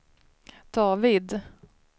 David